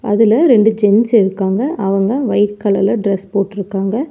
அதுல ரெண்டு ஜென்ஸ் இருக்காங்க அவங்க வைட் கலர் ல டிரஸ் போட்ருக்காங்க.